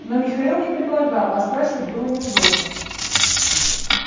но михаил не предлагал а спрашивать было неудобно